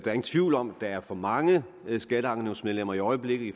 er ingen tvivl om at der er for mange skatteankenævnsmedlemmer i øjeblikket i